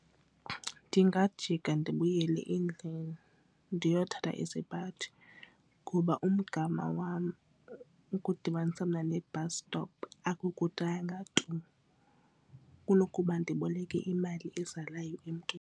Ndingajika ndibuyele endlini ndiyothatha isipaji ngoba umgama wam ukudibanisa mna ne-bus stop akukudanga tu kunokuba ndiboleke imali ezalayo emntwini.